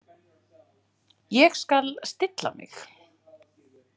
Ég skal stilla mig.